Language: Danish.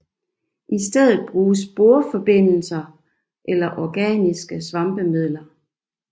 I stedet bruges borforbindelser eller organiske svampemidler